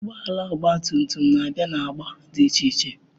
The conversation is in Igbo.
Ụgbọ ala ọgba tum tum na-abịa na agba dị iche iche.